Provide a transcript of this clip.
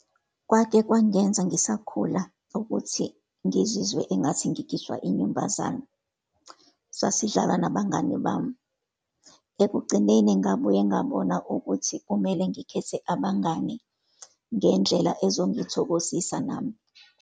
Kwake kwangenza ngisakhula, ukuthi ngizizwe engathi ngikhishwa inyumbazame. Sasidlala nabangani bami. Ekugcineni ngabuye ngabona ukuthi kumele ngikhethe abangani ngendlela ezongithokozisa nami.